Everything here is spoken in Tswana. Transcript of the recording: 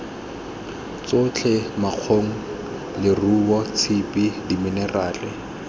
tsotlhe makgong leruo tshipi diminerala